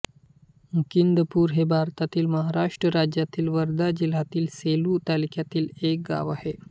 मुकिंदपूर हे भारतातील महाराष्ट्र राज्यातील वर्धा जिल्ह्यातील सेलू तालुक्यातील एक गाव आहे